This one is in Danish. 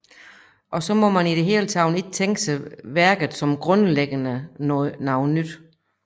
Også må man i det hele ikke tænke sig værket som grundlæggende noget nyt